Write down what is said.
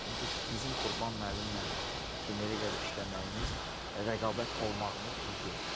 Çünki bizim Qurban müəllimlə Premyer liqada işləməyimiz, rəqabət olmağımız düz deyil.